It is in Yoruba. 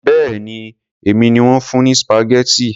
Béèni èmi ni wón fún ní spaghetti.